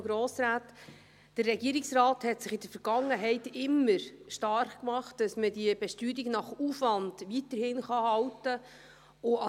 Der Regierungsrat hat sich in der Vergangenheit immer dafür starkgemacht, dass man die Besteuerung nach Aufwand weiterhin halten kann.